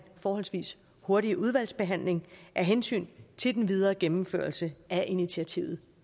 forholdsvis hurtig udvalgsbehandling af hensyn til den videre gennemførelse af initiativet